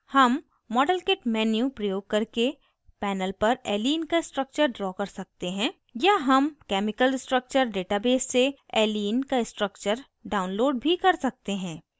हम modelkit menu प्रयोग करके panel पर allene का structure draw कर सकते हैं या हम chemical structure database से allene का structure download भी कर सकते हैं